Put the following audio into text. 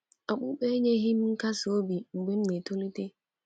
Okpukpe enyeghị m nkasi obi mgbe m na- etolite.